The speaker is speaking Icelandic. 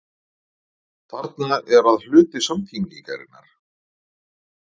Þarna er að hluti samtengingarinnar.